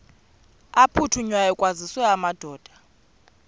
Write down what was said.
aphuthunywayo kwaziswe amadoda